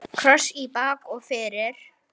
Kross í bak og fyrir.